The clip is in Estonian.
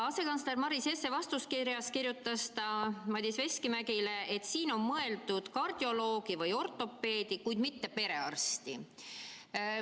Asekantsler Maris Jesse kirjutas vastuskirjas Madis Veskimäele, et siin on mõeldud kardioloogi või ortopeedi, kuid mitte perearsti.